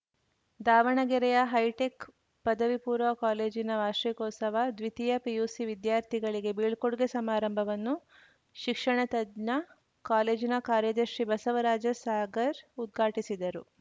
ದಾವಣಗೆರೆಯ ಹೈಟೆಕ್‌ ಪದವಿ ಪೂರ್ವ ಕಾಲೇಜಿನ ವಾರ್ಷಿಕೋತ್ಸವ ದ್ವಿತೀಯ ಪಿಯುಸಿ ವಿದ್ಯಾರ್ಥಿಗಳಿಗೆ ಬೀಳ್ಕೊಡುಗೆ ಸಮಾರಂಭವನ್ನು ಶಿಕ್ಷಣ ತಜ್ಞ ಕಾಲೇಜಿನ ಕಾರ್ಯದರ್ಶಿ ಬಸವರಾಜ ಸಾಗರ್‌ ಉದ್ಘಾಟಿಸಿದರು